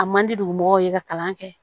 A man di dugu mɔgɔw ye ka kalan kɛ